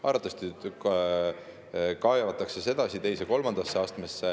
Arvatavasti kaevatakse edasi teise-kolmandasse astmesse.